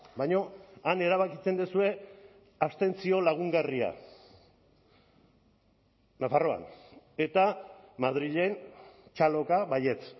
baina han erabakitzen duzue abstentzio lagungarria nafarroan eta madrilen txaloka baietz